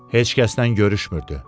Heç kəsdən görüşmürdü.